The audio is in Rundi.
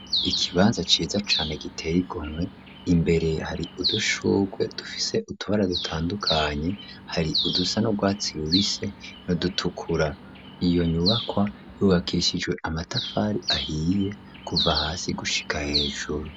Ikibanza ciza cane giteigomwe imbere hari udushurwe dufise utubara dutandukanye hari udusa n' rwatsi bubise ni dutukura iyo nyubakwa y'uwakishijwe amatafari ahiye kuva hasi gushika hejuru.